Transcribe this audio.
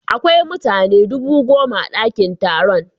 Akwai mutane dubu goma a dakin taron.